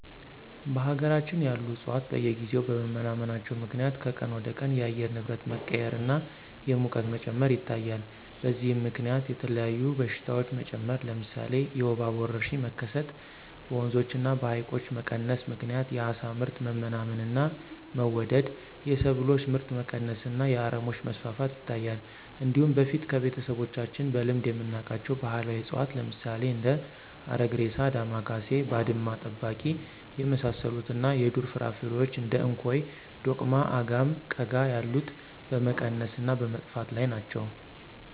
በሀገራችን ያሉ ዕፅዋት በየጊዜው በመመናመናቸው ምክንያት ከቀን ወደቀን የአየር ንብረት መቀያየር እና የሙቀት መጨመር ይታያል። በዚህም ምከንያት የተለያዩ በሽታዎች መጨመር ለምሳሌ የወባ ወረርሽኝ መከሰት፣ በወንዞች እና በሀይቆች መቀነስ ምክንያት የአሳ ምርት መመናመን እና መወደድ፣ የሰብሎች ምርት መቀነስ እና የአረሞች መስፋፋት ይታያል። እንዲሁም በፊት ከቤተሰቦቻችን በልምድ የምናውቃቸው ባህላዊ እፅዋት ለምሳሌ እንደ አረግሬሳ፣ ዳማካሴ፣ ባድማ ጠባቂ የመሳሰሉት እና የዱር ፍራፍሬዎች እንደ እንኮይ፣ ዶቅማ፣ አጋም፣ ቀጋ ያሉት በመቀነስ እና በመጥፋት ላይ ናቸው።